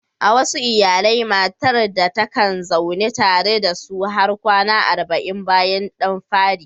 A wasu iyalai, matar ɗa takan zauna tare da su har kwana arba'in bayan ɗan fari.